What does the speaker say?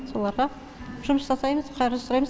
соларға жұмыс жасаймыз қаржы сұраймыз